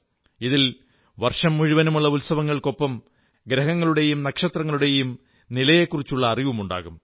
ഇതിൽ വർഷം മുഴുവനുമുള്ള ഉത്സവങ്ങൾക്കൊപ്പം ഗ്രഹങ്ങളുടെയും നക്ഷത്രങ്ങളുടെയും നിലയെക്കുറിച്ചുള്ള അറിവുമുണ്ടാകും